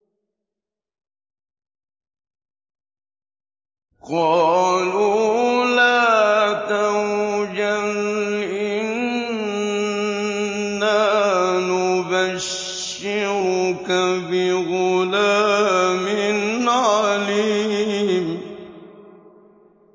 قَالُوا لَا تَوْجَلْ إِنَّا نُبَشِّرُكَ بِغُلَامٍ عَلِيمٍ